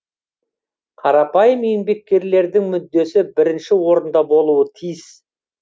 қарапайым еңбеккерлердің мүддесі бірінші орында болуы тиіс